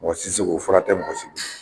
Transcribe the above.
Mɔgɔsi ti se k'o furakɛ mɔgɔsi